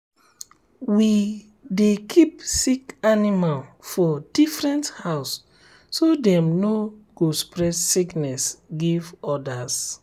we um dey keep sick animal for um different house so dem no um go spread sickness give others.